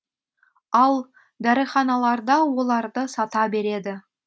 ал дәріханаларда оларды сата береді